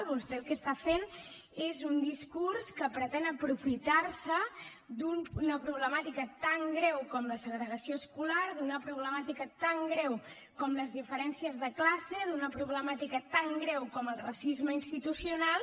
vostè el que està fent és un discurs que pretén aprofitar se d’una problemàtica tan greu com la segregació escolar d’una problemàtica tan greu com les diferències de classe d’una problemàtica tan greu com el racisme institucional